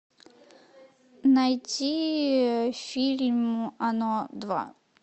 найти фильм оно два